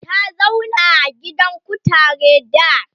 ta zauna a gidan kutare da